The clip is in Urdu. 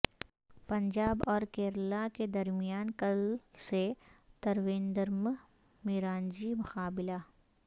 پنجاب اور کیرالا کے درمیان کل سے ترویندرم میںرانجی مقابلہ